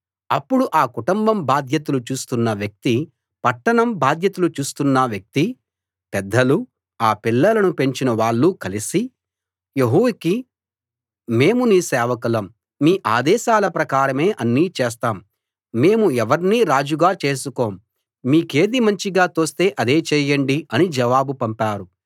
అప్పుడు ఆ కుటుంబం బాధ్యతలు చూస్తున్న వ్యక్తీ పట్టణం బాధ్యతలు చూస్తున్న వ్యక్తీ పెద్దలూ ఆ పిల్లలను పెంచిన వాళ్ళూ కలసి యెహూకి మేము మీ సేవకులం మీ ఆదేశాల ప్రకారమే అన్నీ చేస్తాం మేము ఎవర్నీ రాజుగా చేసుకోం మీకేది మంచిగా తోస్తే అదే చేయండి అని జవాబు పంపారు